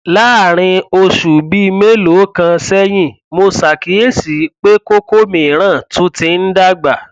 láàárín oṣù bíi mélòó kan sẹyìn mo ṣàkíyèsí pé kókó mìíràn tún ti ń dàgbà